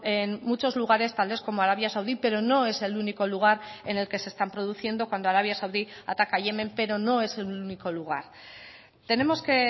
en muchos lugares tales como arabia saudí pero no es el único lugar en el que se están produciendo cuando arabia saudí ataca yemen pero no es el único lugar tenemos que